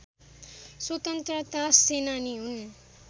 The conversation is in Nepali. स्वतन्त्रता सेनानी हुन्